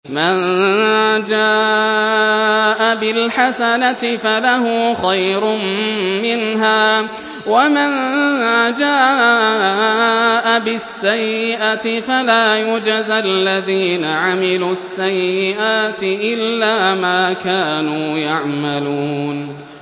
مَن جَاءَ بِالْحَسَنَةِ فَلَهُ خَيْرٌ مِّنْهَا ۖ وَمَن جَاءَ بِالسَّيِّئَةِ فَلَا يُجْزَى الَّذِينَ عَمِلُوا السَّيِّئَاتِ إِلَّا مَا كَانُوا يَعْمَلُونَ